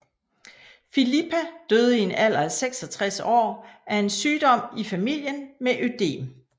Filippa døde i en alder af 66 år af en sygdom i familie med ødem